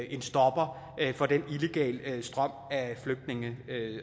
en stopper for den illegale strøm af flygtninge